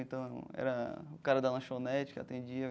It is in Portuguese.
Então era o cara da lanchonete que atendia.